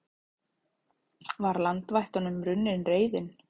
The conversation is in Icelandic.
Var landvættunum runnin reiðin?